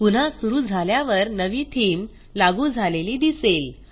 पुन्हा सुरू झाल्यावर नवी थीम लागू झालेली दिसेल